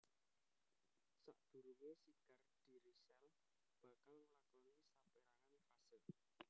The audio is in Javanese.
Sadurungé sigar dhiri sel bakal nglakoni sapérangan fase